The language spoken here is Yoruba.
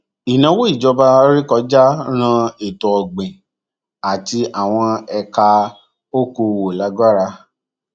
ìnáwó ìjọba ré kọjá ran ètòọgbìn àti àwọn ẹka òkòòwò lágbára